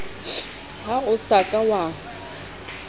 ha o sa ka wa